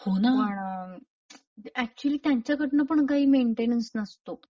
पण होणं ऍक्च्युली त्यांच्याकडन पण काही मेंटेनन्स नसतो.